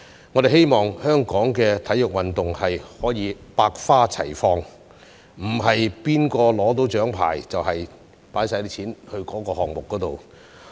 我們希望香港的體育運動可以百花齊放，而不是誰人獲得獎牌，便把全部撥款投放在該項目。